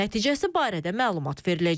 Nəticəsi barədə məlumat veriləcək.